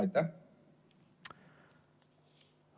Aitäh!